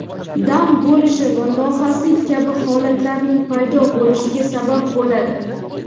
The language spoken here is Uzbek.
dam bo‘lishi va lohaslik kabi holatlarning paydo bo‘lishiga sabab bo‘ladi.